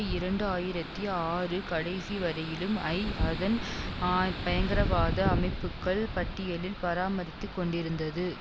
இரண்டு ஆயிரத்தி ஆறு கடைசி வரையிலும் ஐ அதன்ஆ பயங்கரவாத அமைப்புக்கள் பட்டியலில் பராமரித்து கொண்டிருந்தது